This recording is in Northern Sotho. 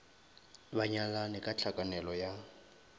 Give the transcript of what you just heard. ba nyalane ka tlhakanelo ya